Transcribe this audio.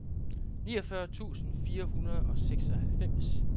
niogfyrre tusind fire hundrede og seksoghalvfems